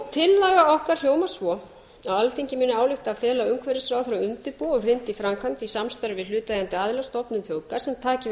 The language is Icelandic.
tillaga okkar hljóðar svo alþingi ályktar að fela umhverfisráðherra að undirbúa og hrinda í framkvæmd í samstarfi við hlutaðeigandi aðila stofnun þjóðgarðs sem taki yfir